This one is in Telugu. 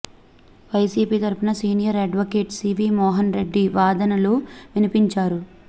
వైసీపీ తరఫున senior advocate CV Mohan Reddy వాదనలు వినిపించారు